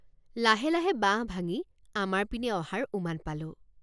লাহে লাহে বাঁহ ভাঙি আমাৰ পিনে অহাৰ উমান পালোঁ।